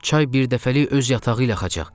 Çay birdəfəlik öz yatağı ilə axacaq.